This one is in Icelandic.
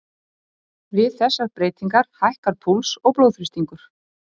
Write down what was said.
Við þessar breytingar hækkar púls og blóðþrýstingur.